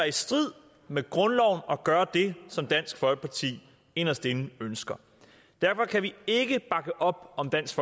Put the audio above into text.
i strid med grundloven at gøre det som dansk folkeparti inderst inde ønsker derfor kan vi ikke bakke op om dansk